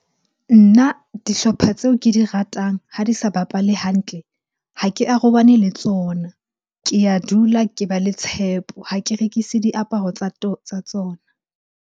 Nna dihlopha tseo ke di ratang ha di sa bapale hantle, ha ke arabane le tsona. Ke a dula ke ba le tshepo, ha ke rekise diaparo tsa tsona.